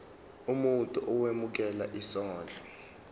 umuntu owemukela isondlo